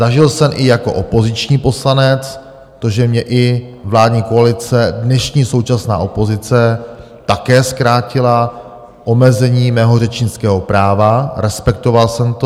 Zažil jsem i jako opoziční poslanec to, že mě i vládní koalice, dnešní současná opozice, také zkrátila omezení mého řečnického práva, respektoval jsem to.